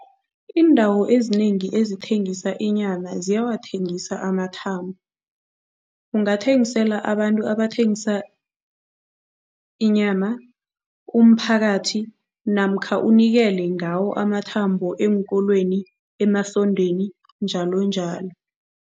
Iindawo ezinengi ezithengisa inyama ziyathengisa amathambo. Ungathengisela abantu abathengisa inyama, umphakathi namkha unikele ngawo amathambo eenkolweni, emasondweni njalonjalo.